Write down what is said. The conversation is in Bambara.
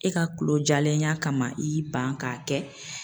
E ka kulo jalenya kama i y'i ban k'a kɛ.